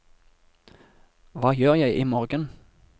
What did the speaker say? hva gjør jeg imorgen